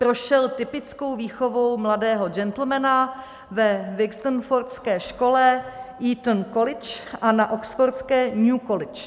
Prošel typickou výchovou mladého gentlemana ve Wixenfordské škole, Eton College a na oxfordské New College.